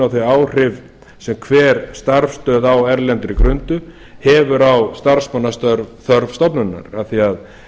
þau áhrif sem hver starfsstöð á erlendri grundu hefur starfsmannaþörf stofnunarinnar af því að